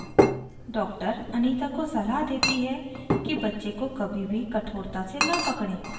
doctor anita को सलाह देती है कि बच्चे को कभी भी कठोरता से न पकड़ें